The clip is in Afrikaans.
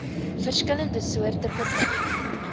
verskillende soorte permitte